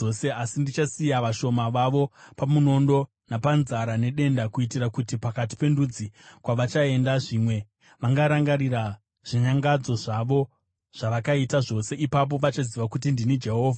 Asi ndichasiya vashoma vavo pamunondo, napanzara nedenda, kuitira kuti pakati pendudzi kwavachaenda zvimwe vangarangarira zvinyangadzo zvavo zvavakaita zvose. Ipapo vachaziva kuti ndini Jehovha.”